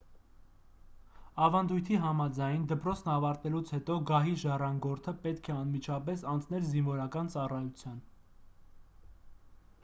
ավանդույթի համաձայն դպրոցն ավարտելուց հետո գահի ժառանգորդը պետք է անմիջապես անցներ զինվորական ծառայության